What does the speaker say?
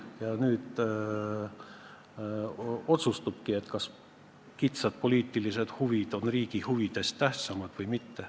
Ja nüüd selgubki, kas kitsad poliitilised huvid on riigi huvidest tähtsamad või mitte.